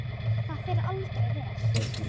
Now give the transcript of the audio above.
Það fer aldrei vel.